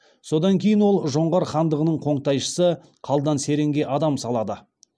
содан кейін ол жоңғар хандығының қоңтайшысы қалдан серенге адам салады